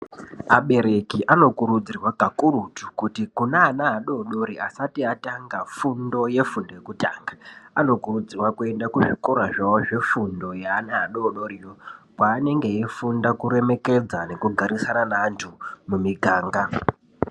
Abereki anokurudzirwa kakurutu kuti kune ana adori-dori asati atanga fundo yefundo yekutanga, anokurudzirwa kuenda kuzvikora zvawo zvefundo yeana adori doriyo, kwaanenge achifunda kuremekedza nekugarisana neantu mumiganga.